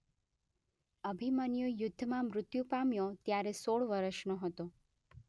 અભિમન્યુ યુદ્ધમાં મૃત્યુ પામ્યો ત્યારે ૧૬ વર્ષનો હતો.